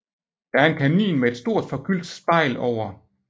Der er en kamin med et stort forgyldt spejl over